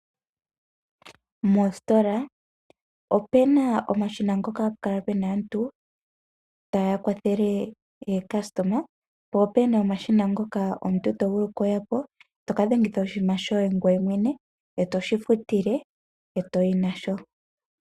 Mositola opena omashina ngoka hapu kala pena aantu taya kwathele ookasitoma po opena omashina ngoka omuntu to vulu okuya po to kadhwngitha oshinima shoye ngweye mwene etoshi futile etoyi nasho.